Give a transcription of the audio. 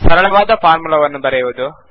ಸರಳವಾದ ಫಾರ್ಮುಲಾವನ್ನು ಬರೆಯುವುದು